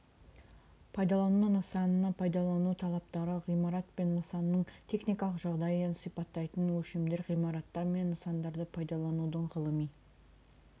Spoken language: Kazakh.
пайдалану нысанына пайдалану талаптары ғимарат пен нысанның техникалық жағдайын сипаттайтын өлшемдер ғимараттар мен нысандарды пайдаланудың ғылыми